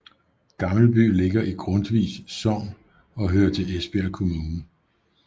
Gammelby ligger i Grundtvigs Sogn og hører til Esbjerg Kommune